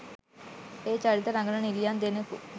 ඒ චරිත රඟන නිළියන් දෙනෙකු